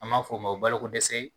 An b'a fɔ o ma bolokodɛsɛ